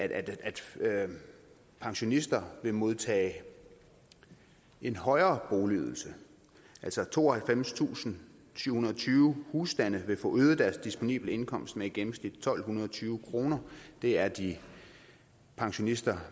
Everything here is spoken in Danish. pensionister vil modtage en højere boligydelse altså tooghalvfemstusinde og syvhundrede og tyve husstande vil få øget deres disponible indkomst med i gennemsnit tolv tyve kroner det er de pensionister